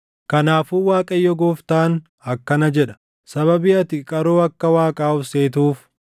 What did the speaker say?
“ ‘Kanaafuu Waaqayyo Gooftaan akkana jedha: “ ‘Sababii ati qaroo akka waaqaa of seetuuf,